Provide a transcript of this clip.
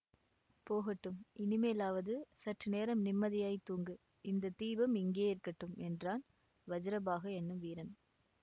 போகட்டும் இனிமேலாவது சற்று நேரம் நிம்மதியாய்த் தூங்கு இந்த தீபம் இங்கேயே இருக்கட்டும் என்றான் வஜ்ரபாஹு என்னும் வீரன்